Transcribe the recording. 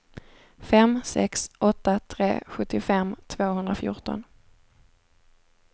fem sex åtta tre sjuttiofem tvåhundrafjorton